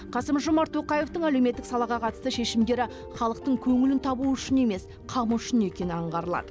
қасым жомарт тоқаевтың әлеуметтік салаға қатысты шешімдері халықтың көңілін табу үшін емес қамы үшін екені аңғарылады